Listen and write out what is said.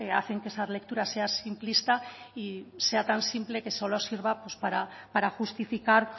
hacen que esa lectura sea simplista y sea tan simple que solo sirva para justificar